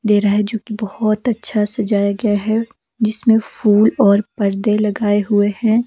दे रहा है जोकि बहुत अच्छा सजाया गया है जिसमें फूल और पर्दे लगाए हुए हैं।